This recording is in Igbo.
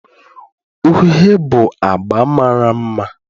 Uhie bụ agba mara mma